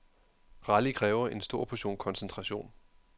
Rally kræver en stor portion koncentration.